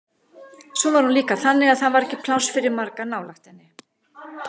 Svo var hún líka þannig að það var ekki pláss fyrir marga nálægt henni.